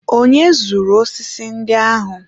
onye zụrụ osisi ndị ahụ?